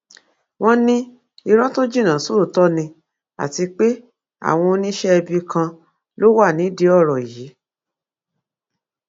wọn ní irọ tó jinná sóòótọ ni àti pé àwọn oníṣẹẹbí kan ló wà nídìí ọrọ yìí